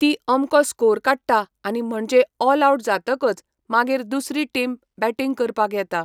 ती अमको स्कोर काडटा आनी म्हणजे ओल आवट जातकच मागीर दुसरी टिम बेटींग करपाक येता